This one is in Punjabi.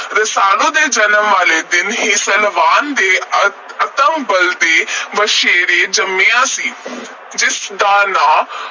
ਰਸਾਲੂ ਦੇ ਜਨਮ ਵਾਲੇ ਦਿਨ ਹੀ ਸਲਵਾਨ ਦੇ ਅਸਤਬਲ ਵਿਚ ਇਕ ਵਛੇਰਾ ਜੰਮਿਆ ਸੀ, ਜਿਸ ਦਾ ਨਾਂ